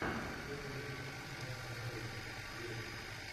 первый выпуск ганз эн роузиз виво